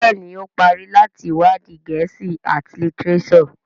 Béèni o parí láti iwadi Gèésì at litireso.